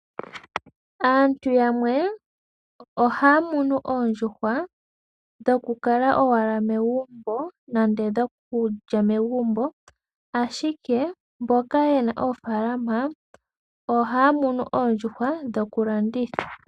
Aantu yamwe ohaya munu oondjuhwa dhokukala owala megumbo nande dhokulya megumbo, ashike mboka ye na oofalama ohaya munu oondjuhwa dhokulanditha.